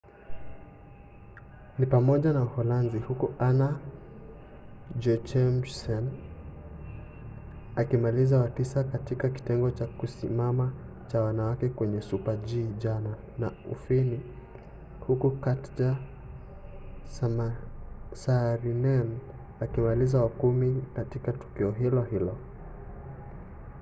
ni pamoja na uholanzi huku anna jochemsen akimaliza wa tisa katika kitengo cha kusimama cha wanawake kwenye super-g jana na ufini huku katja saarinen akimaliza wa kumi katika tukio hilo hilo